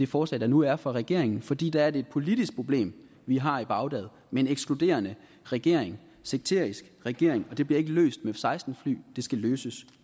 forslag der nu er fra regeringen fordi det er et politisk problem vi har i bagdad med en ekskluderende regering sekterisk regering og det bliver ikke løst med f seksten fly det skal løses